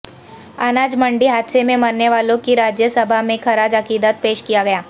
اناج منڈی حادثے میں مرنے والوں کو راجیہ سبھا میں خراج عقیدت پیش کیاگیا